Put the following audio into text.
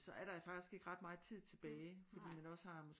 Så er der faktisk ikke ret meget tid tilbage fordi man også har